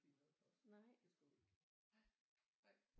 Lige noget for os det skulle vi ikke nej nej